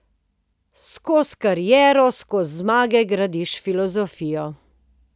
Skozi kariero, skozi zmage gradiš filozofijo.